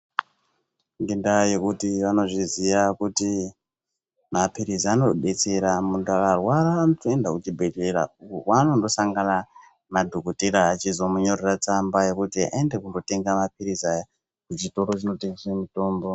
Ngendaa yekuti vanozviziya kuti maphirizi anodetsera , munthu akarwara anotoenda kuchibhedhlera ,uko kweanondosangana nadhokodhera echizomunyorera tsamba kuti aende kundotenga maphirizi aya, kuchitoro chinotengeswe mutombo.